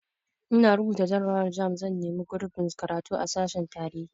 In na rubuta jarrabawar jamb zan nemi gurbin karatu a sashen tarihi